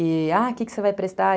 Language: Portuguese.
E, ah, o que você vai prestar?